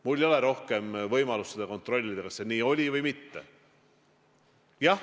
Mul ei ole rohkem võimalust seda kontrollida, kas see nii oli või mitte.